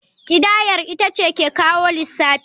Kidayar ita ce ke kawo lissafi.